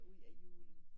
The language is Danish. Ud af julen